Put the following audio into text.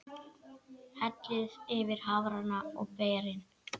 Hellið yfir hafrana og berin.